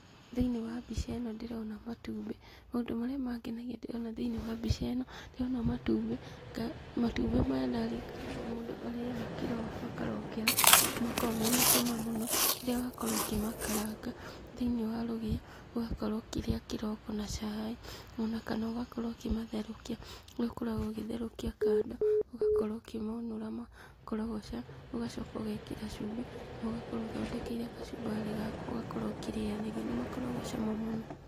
Thĩinĩ wa mbica ĩno ndĩrona matumbĩ. Maũndũ marĩa mangenagia ndĩrona thĩinĩ wa mbica ĩno, ndĩrona matumbĩ, matumbĩ maya ndaririrkana nĩmo mũndũ arĩaga kĩroko akarokera, nĩmakoragwo mena cama mũno, rĩrĩa wakorwo ũkĩmakaranga thĩiniĩ wa rũgĩo, ũgakorwo ũkĩrĩa kĩroko na caai, ona kana ũgakorwo ũkĩmatherũkia, harĩa ũkoragwo ũkĩmatherũkia kando, ũgakorwo ũkĩmonũra makorogoca, ũgacoka ũgekĩra cumbĩ, na ũgakorwo ũthondekeire gacumbari gaku ũgakorwo ũkĩrĩanĩria. nĩmakoragwo cama mũno.